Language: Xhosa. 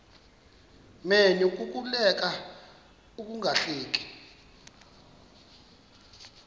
menyo kukuleka ungahleki